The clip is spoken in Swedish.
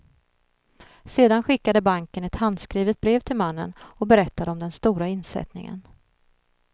Sedan skickade banken ett handskrivet brev till mannen och berättade om den stora insättningen.